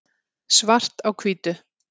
svart á hvítu